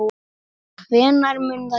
Hvenær mun það gerast?